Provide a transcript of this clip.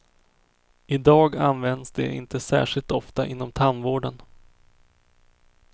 I dag används det inte särskilt ofta inom tandvården.